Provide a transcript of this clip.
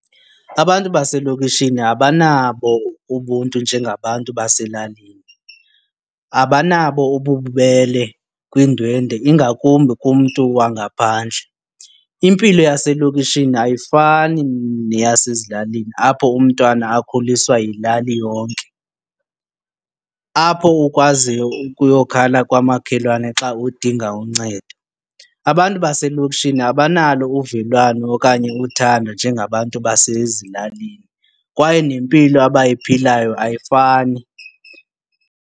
Abantu baselokishini abanabo ubuntu njengabantu baselalini, abanabo ububele kwiindwendwe ingakumbi kumntu wangaphandle. Impilo yaselokishini ayifani neyasezilalini apho umntwana akhuliswa yilali yonke, apho ukwaziyo ukuyokhala kwamakhelwane xa udinga uncedo. Abantu baselokishini abanalo uvelwano okanye uthando njengabantu basezilalini kwaye nempilo abayiphilayo ayifani.